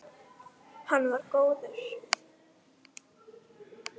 Hann var góður.